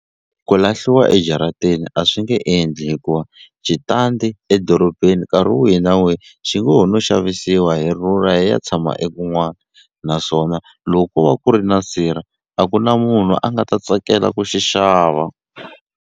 Ku lahliwa ejaratini a swi nge endli hikuva xitandi edorobeni nkarhi wihi na wihi xi ngo ho no xavisiwa hi rhurha hi ya tshama ekun'wana naswona loko ko va ku ri na sirha a ku na munhu a nga ta tsakela ku xi xava.